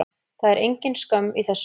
Það er engin skömm í þessu.